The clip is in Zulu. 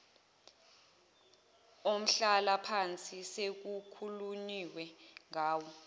omhlalaphansi sekukhulunyiwe ngawo